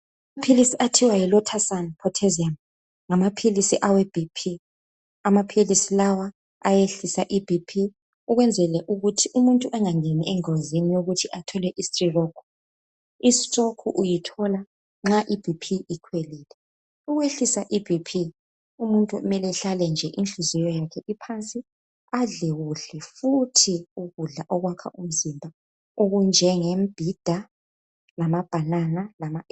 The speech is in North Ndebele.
amaphilisi athiwa yi losartan pottassium ngamaphilisi awe BP amaphilisi lawa ayehlisa i BP ukwenzela ukuthi umutnu engangeni engozini yokuthi athole i stroke i stroke uyithola nx i BP ikhwelile ukwehlisa i BP umuntu kumele ehlale nje inhliziyo yakhe iphansi adele kuhle futhi ukudla okwakha umzimba okunjenge mbhida lama banana